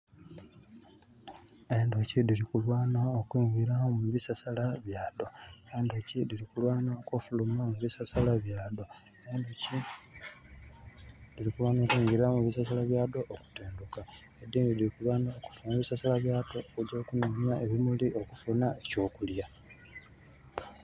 Endhoki dhili kulwana okwingira mu bisasala byadho. Endhoki dhili kulwana okufuluma mu bisasala byadho. Endhoki dhili kulwana okwingira mu bisasala byadho okutendhuka. Edhindhi dhili kulwana okufuluma mu bisasala byadho okugya okunonya ebimuli okufunha eky'okulya.